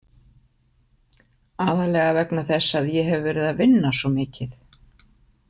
Aðallega vegna þess að ég hef verið að vinna svo mikið.